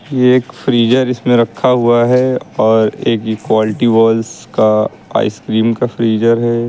ये एक फ्रीजर इसमें रखा हुआ है और एक क्वालिटी वॉल्स का आईसक्रीम का फ्रीजर है।